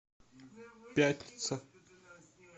пятница